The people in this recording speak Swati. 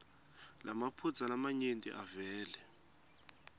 lamaphutsa lamanyenti avele